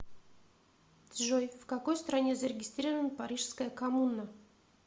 джой в какой стране зарегистрирован парижская коммуна